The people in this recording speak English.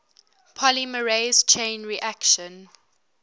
polymerase chain reaction